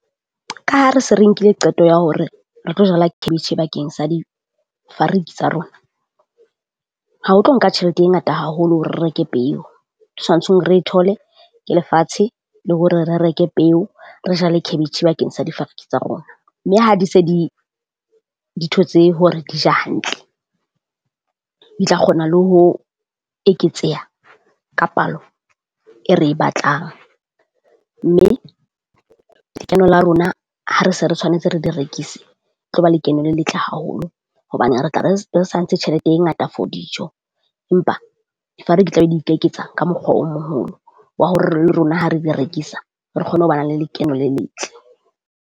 Ka ha re se re nkile qeto ya hore re tlo jala cabbage bakeng sa difariki tsa rona, ha ho tlo nka tjhelete e ngata haholo hore re reke peo. tshwantshong re e thole ke lefatshe le hore re reke peo re jale cabbage bakeng sa difariki tsa rona. Mme ha di se di di thotse hore di ja hantle, di tla kgona le ho eketseha ka palo e re e batlang, mme lekeno la rona ha re se re tshwanetse re di rekise, tlo ba lekeno le letle haholo hobane re tla re re santse tjhelete e ngata for dijo. Empa tla be di ikeketsa ka mokgwa o moholo wa hore le rona ha re di rekisa, re kgone ho bana le lekeno le letle.